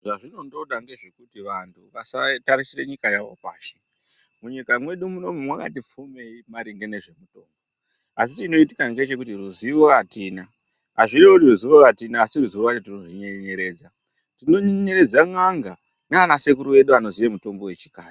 Zvazvinondoda ngezvekuti vantu vasatarisire nyika yavo pashi munyika mwedu munomu mwakati pfumimei maringe ngezve mutombo asi chinoitika ngechekuti ruzivo atina azvirevi kuti ruzivo atina asi ruzivo rwacho tinorunyenyeredza tinonyenyeredza n'anga nana sekuru edu anoziye mutombo wechikare.